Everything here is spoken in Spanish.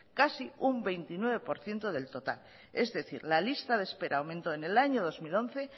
casi un veintinueve por ciento del total es decir la lista de espera aumentó en el año dos mil once